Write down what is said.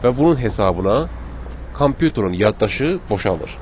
Və bunun hesabına kompüterin yaddaşı boşalır.